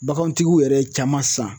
Bagantigiw yɛrɛ ye caman san